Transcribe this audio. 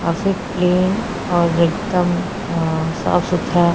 काफी प्लेन और एकदम अ साफ सुधरा --